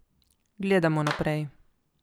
Gledamo naprej.